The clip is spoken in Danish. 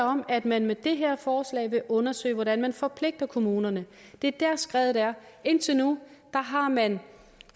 om at man med det her forslag vil undersøge hvordan man forpligter kommunerne det er der skredet er indtil nu har man